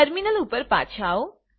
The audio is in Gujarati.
ટર્મિનલ ઉપર પાછા આવો